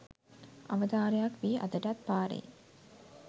අවතාරයක් වී අදටත් පාරේ